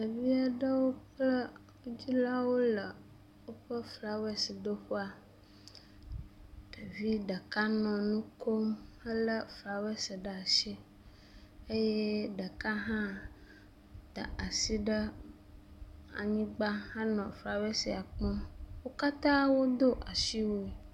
Ɖevi aɖewo kple wo dzilawo le woƒe flawesidoƒea, ɖevi ɖeka nɔ nu kom helé flawesi ɖe asi eye ɖeka hã da asi ɖe anyigba hele flawesia kpɔm.